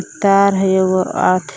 तार हइ एगो अर्थ--